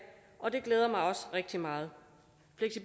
og det glæder mig også rigtig meget